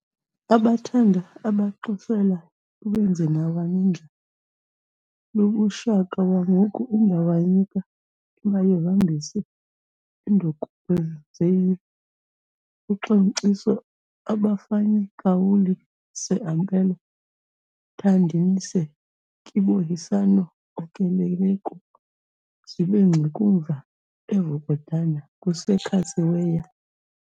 Abatanda abaXisela iwenzinawanidla lubuShaka wamhuku indawanyika imayivambis' indokukwenzenyi uXimciso abafanyikawuli seAmpelo nthandinise kebohisano okuleleku zibengxekumva eVukodana kusekhatsi weya